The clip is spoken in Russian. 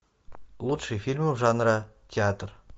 лучшие фильмы жанра театр